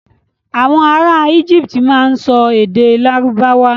Àwon ará íjíptì má n so èdè lárúbáwà.